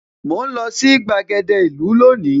Mò ń lọ sí gbàgede ìlú lónìí